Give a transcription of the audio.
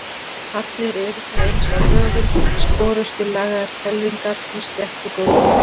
Allir eru þeir eins að lögun, sporöskjulagaðar hvelfingar með sléttu gólfi.